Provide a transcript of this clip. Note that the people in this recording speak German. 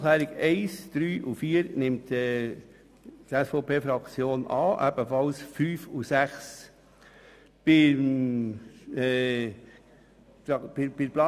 Die Planungserklärungen 1, 3 und 4 nimmt die SVP-Fraktion an, ebenfalls 5 und 6.